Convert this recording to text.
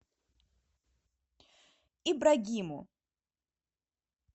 ибрагиму